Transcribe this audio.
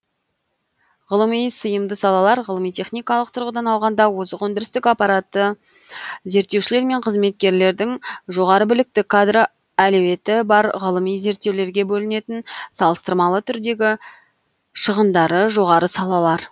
ғылыми сыйымды салалар ғылыми техникалық тұрғыдан алғанда озық өндірістік аппараты зерттеушілер мен қызметкерлердің жоғары білікті кадр әлеуметі бар ғылыми зерттеулерге бөлінетін салыстырмалы түрдегі шығындары жоғары салалар